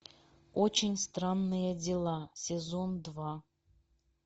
очень странные дела сезон два